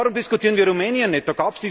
Warum diskutieren wir Rumänien nicht?